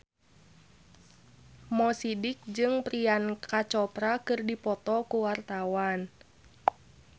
Mo Sidik jeung Priyanka Chopra keur dipoto ku wartawan